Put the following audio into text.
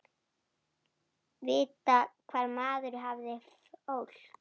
Vita hvar maður hafði fólk.